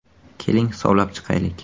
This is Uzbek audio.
Keling hisoblab chiqaylik!